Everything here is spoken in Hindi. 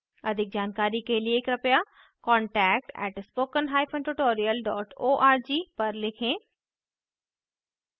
अधिक जानकारी के लिए कृपया contact @spoken hyphen tutorial dot org पर लिखें